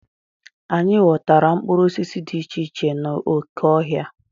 Anyị ghọtara mkpụrụ osisi dị iche iche n'oké ọhịa.